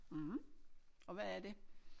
Mh og hvad er det?